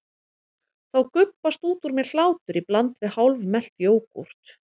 Þá gubbast út úr mér hlátur í bland við hálfmelt jógúrt.